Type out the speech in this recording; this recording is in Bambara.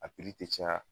A tɛ caya